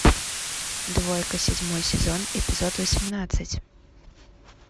двойка седьмой сезон эпизод восемнадцать